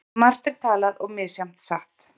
Margt er talað og misjafnt satt.